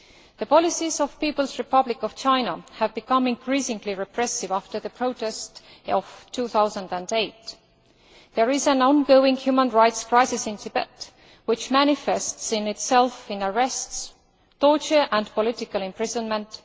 The policies of the People's Republic of China have become increasingly repressive after the protests of 2008. There is an ongoing human rights crisis in Tibet, which manifests itself in arrests, torture and political imprisonment